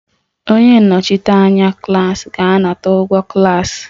Onye nnọchiteanya klas ga-anakọta ụgwọ klas